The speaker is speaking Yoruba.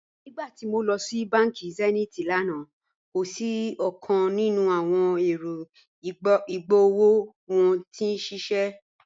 Nígbàtí mó lọ sí bánkì Zenith lánà, kò sí ọ̀kan nínu awọn èrò igbóòwò wọn tí n ṣiṣẹ́.